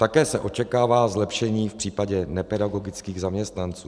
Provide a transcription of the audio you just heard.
Také se očekává zlepšení v případě nepedagogických zaměstnanců.